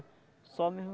Só mesmo